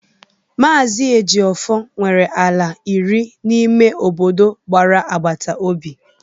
Mazị Ejiofor nwere ala iri n'ime obodo gbara agbata obi.